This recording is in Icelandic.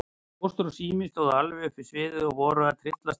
Póstur og Sími stóðu alveg upp við sviðið og voru að tryllast af monti.